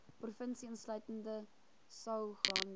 provinsie insluitende saoglande